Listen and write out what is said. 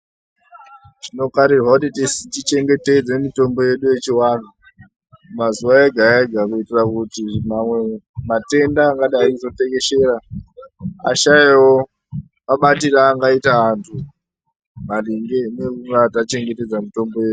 Tinofanirwa kuti tichengetedze mitombo yedu yechivanhu mazuva ega ega kuitira kuti mamwe matenda angadai kuzotekeshera ashayewo mabatire aangaita antu maringe nekunga tachengetedza mutombo yedu .